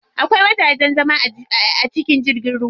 Akwai wajajen zama a cikin jirgin ruwa.